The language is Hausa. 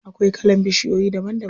Akwai kalan bishiyoyi daban daban.